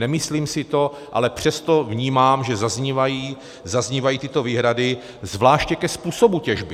Nemyslím si to, ale přesto vnímám, že zaznívají tyto výhrady zvláště ke způsobu těžby.